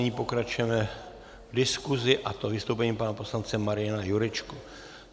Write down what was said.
Nyní pokračujeme v diskusi, a to vystoupením pana poslance Mariana Jurečky.